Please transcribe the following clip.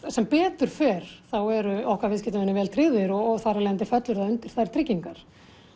sem betur fer eru okkar viðskiptavinir vel tryggðir og þá þar af leiðandi fellur það undir þær tryggingar